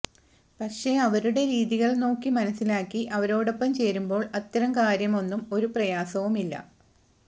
പക്ഷെ അവരുടെ രീതികൾ നോക്കി മനസിലാക്കി അവരോടൊപ്പം ചേരുമ്പോൾ അത്തരം കാര്യം ഒന്നും ഒരു പ്രയാസവും ഇല്ല